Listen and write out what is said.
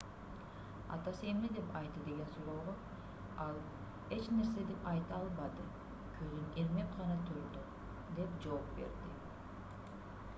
атасы эмне деп айтты деген суроого ал эч нерсе деп айта албады көзүн ирмеп гана турду - деп жооп берди